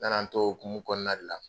Nana n t'o hokumu kɔɔna de la